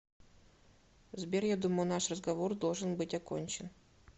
сбер я думаю наш разговор должен быть окончен